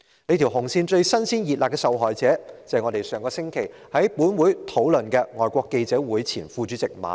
這條"紅線"最"新鮮熱辣"的受害者，正是本會上星期討論的議案提及的香港外國記者會前副主席馬凱。